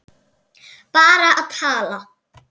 Bara að tala.